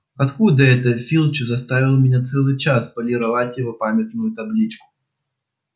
оттуда это филч заставил меня целый час полировать его памятную табличку